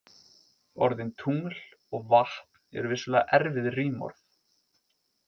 Orðin tungl og vatn eru vissulega erfið rímorð.